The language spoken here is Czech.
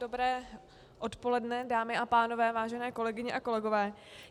Dobré odpoledne, dámy a pánové, vážené kolegyně a kolegové.